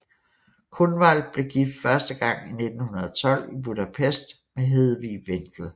Kunwald blev gift første gang i 1912 i Budapest med Hedwig Vendel